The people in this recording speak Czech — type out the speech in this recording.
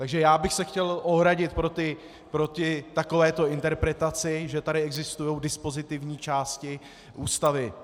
Takže já bych se chtěl ohradit proti takovéto interpretaci, že tady existují dispozitivní části Ústavy.